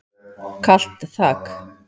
Kalt þak.